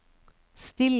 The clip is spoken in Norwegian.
stille